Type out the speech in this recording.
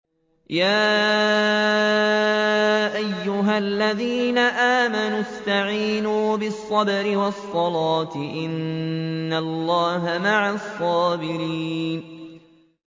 يَا أَيُّهَا الَّذِينَ آمَنُوا اسْتَعِينُوا بِالصَّبْرِ وَالصَّلَاةِ ۚ إِنَّ اللَّهَ مَعَ الصَّابِرِينَ